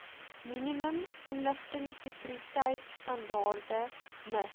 minimum inligtingsekuriteitstandaarde miss